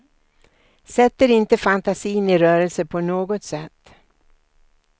Sätter inte fantasin i rörelse på något sätt.